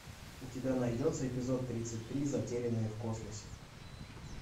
у тебя найдется эпизод тридцать три затерянные в космосе